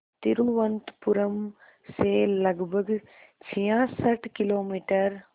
तिरुवनंतपुरम से लगभग छियासठ किलोमीटर